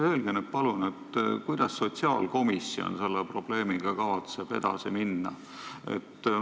Öelge nüüd, palun, kuidas sotsiaalkomisjon selle probleemiga kavatseb edasi minna.